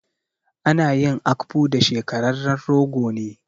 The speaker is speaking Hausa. Ana yin akpu da shekararren rogo ne.